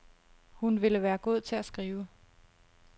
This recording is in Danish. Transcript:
Hun ville være god til at skrive.